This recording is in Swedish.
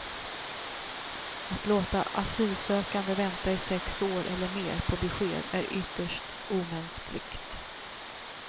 Att låta asylsökande vänta i sex år eller mer på besked är ytterst omänskligt.